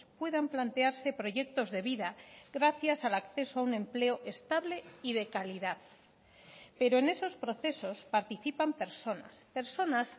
puedan plantearse proyectos de vida gracias al acceso a un empleo estable y de calidad pero en esos procesos participan personas personas